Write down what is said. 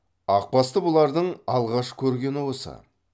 ақбасты бұлардың алғаш көргені осы